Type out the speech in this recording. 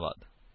ਧੰਨਵਾਦ